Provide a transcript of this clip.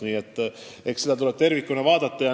Nii et pilti tuleb tervikuna vaadata.